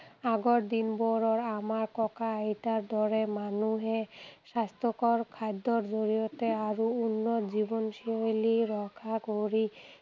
আগৰ দিনবোৰৰ আমাৰ টকা আইতাৰ দৰে মানুহে স্বাস্থ্যকৰ খাদ্যৰ জৰিয়তে আৰু উন্নত জীৱনশৈলী ৰক্ষা কৰি